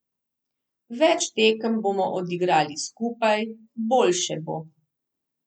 Več tekem bomo odigrali skupaj, boljše bo.